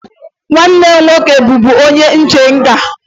Nwanne m nwoke bụbu onye nche nga.